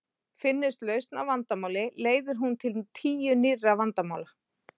Finnist lausn á vandamáli leiðir hún til tíu nýrra vandamála.